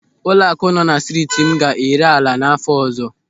Ụlọaku nọ na striiti m ga-ere ala n'áfọ ọzọ.